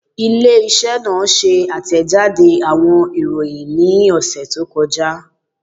Ile-iṣẹ naa ṣe atẹjade awọn iroyin ni ọsẹ to kọja